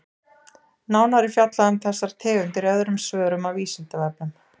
Nánar er fjallað um þessar tegundir í öðrum svörum á Vísindavefnum.